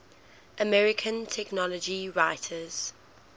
american technology writers